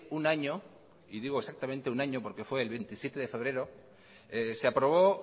un año y digo exactamente un año porque fue el veintisiete de febrero se aprobó